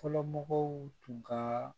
Fɔlɔmɔgɔw tun ka